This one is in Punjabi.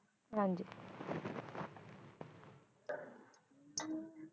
ਹਾਂਜੀ